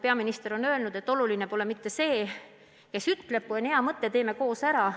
Peaminister on ju öelnud, et oluline pole mitte see, kes ütleb, oluline on, et kui on hea mõte, siis tehakse see koos ära.